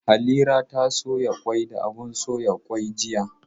Halira ta soya kwai da abun soya kwai jiya.